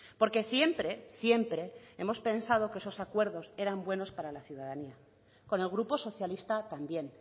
porque siempre siempre hemos pensado que esos acuerdos eran buenos para la ciudadanía con el grupo socialista también